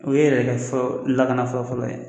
O ye yɛrɛ kɛ fɔlɔ lakana fɔlɔfɔlɔ ye.